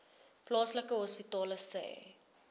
plaaslike hospitale sê